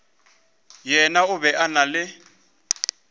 yena o be a na